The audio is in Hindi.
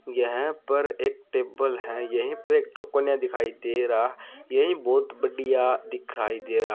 यह पर एक टेबल है यही पर एक दिखाई देरा यही बहुत बढ़िया दिखाई देरा।